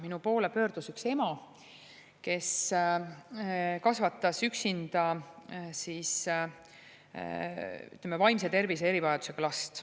Minu poole pöördus üks ema, kes kasvatas üksinda, ütleme, vaimse tervise erivajadusega last.